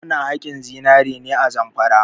Ana haƙin zinare ne a Zamfara.